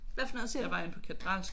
Hvad for noget siger du?